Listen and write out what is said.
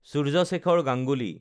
Surya Shekhar Ganguly